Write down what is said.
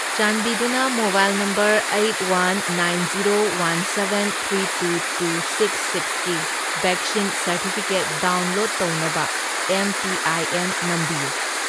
ꯆꯥꯟꯕꯤꯗꯨꯅ mobile number eight, one, nine, zero, one seven, three two, two six ꯁꯤꯛꯁꯀꯤ vaccine certificate download ꯇꯧꯅꯕ M P I N ꯅꯝꯕꯤꯌꯨ꯫